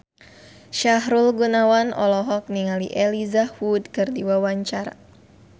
Sahrul Gunawan olohok ningali Elijah Wood keur diwawancara